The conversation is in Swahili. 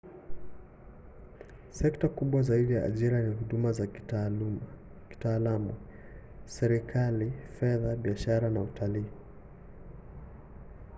sekta kubwa zaidi za ajira ni huduma za kitaalamu serikali fedha biashara na utalii